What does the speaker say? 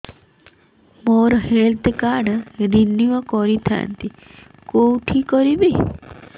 ମୋର health card renew କରିଥାନ୍ତି କୋଉଠି କରିବି